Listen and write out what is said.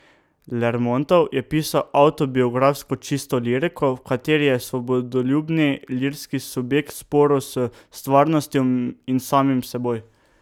Lermontov je pisal avtobiografsko, čisto liriko, v kateri je svobodoljubni lirski subjekt v sporu s stvarnostjo in samim seboj.